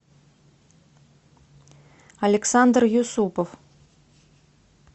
александр юсупов